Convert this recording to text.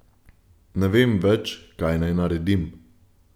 Ne vem več, kaj naj naredim.